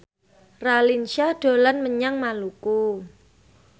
Raline Shah dolan menyang Maluku